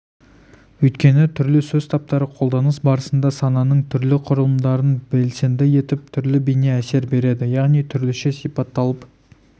өйткені түрлі сөз таптары қолданыс барысында сананың түрлі құрылымдарын белсенді етіп түрлі бейне әсер береді яғни түрліше сипатталып